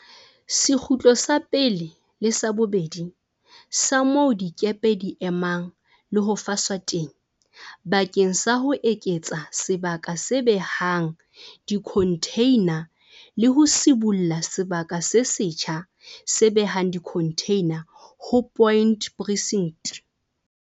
Sekgutlo sa pele le sa bobedi sa moo dikepe di emang le ho faswa teng bakeng sa ho eketsa sebaka se behang dikhontheina le ho sibolla sebaka se setjha se behang dikhontheina ho Point Precinct.